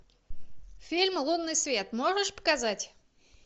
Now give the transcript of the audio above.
фильм лунный свет можешь показать